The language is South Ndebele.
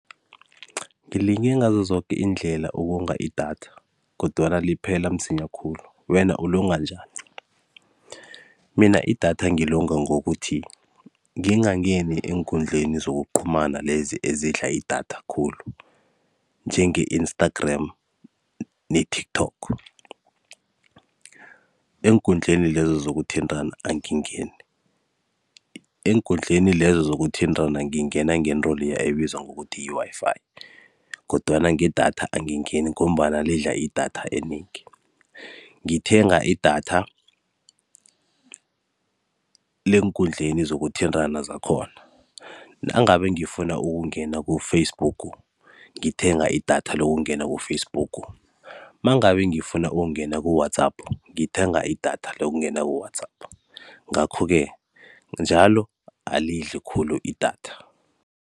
Ngilinge ngazo zoke iindlela ukonga idatha kodwana liphela msinyana khulu, wena ulonga njani? Mina idatha ngilonga ngokuthi ngingangeni eenkundleli zokuqhumana ezidla idatha khulu, njenge-Instagram ne-TikTok. Eenkundleni lezo angingeni. Eenkundleni lezo zokuthintana ngingena ngento leya ebizwa bona yi-Wi-Fi kodwana ngedatha angingeni ngombana idla idatha elinengi. Ngithenga idatha leenkundleni zokuthintana lakhona. Nangabe ngifuna ukungena ku-Facebook, ngithenga idatha lokungena ku-Facebook. Mangabe ngifuna ukungena ku-WhatsApp, ngithenga idatha lokungena ku-WhatsApp. Ngakho-ke njalo, alidli khulu idatha.